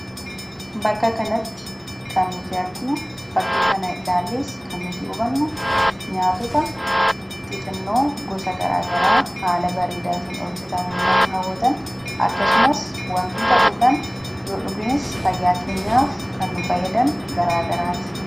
Bakka kanatti kan nuti arginu, fakkii kana ilaallees kan nuti hubannu nyaatota xixinnoo gosa garaagaraa haala bareedaatin hojjetamani nama hawwaatan akkasumas, wantoota dhugaan, yoo dhuganis fayyaa keenyaaf kan nu fayyadan garaagaraati.